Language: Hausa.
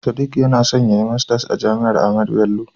Sadiq yana son yayi masters a jami'ar Ahmadu Bello.